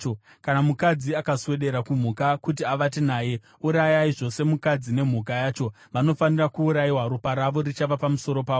“ ‘Kana mukadzi akaswedera kumhuka kuti avate nayo, urayai zvose mukadzi nemhuka yacho. Vanofanira kuurayiwa; ropa ravo richava pamusoro pavo.